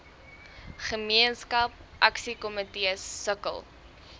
gemeenskap aksiekomitees sukkel